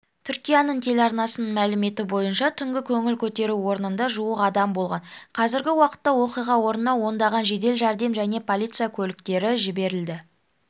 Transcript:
түркияның телеарнасының мәліметібойынша түнгі көңіл көтеру орнында жуық адам болған қазіргі уақытта оқиға орнына ондаған жедел жәрдем және полиция көліктері жіберілді